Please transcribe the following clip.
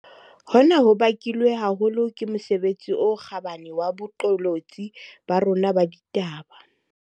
Hona ho bakilwe haholo ke mosebetsi o kgabane wa boqolotsi ba rona ba ditaba.